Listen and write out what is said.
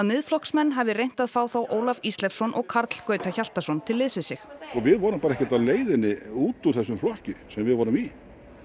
Miðflokksmenn hafi reynt að fá þá Ólaf Ísleifsson og Karl Gauta Hjaltason til liðs við sig við vorum ekkert á leiðinni út úr þessum flokki sem við vorum í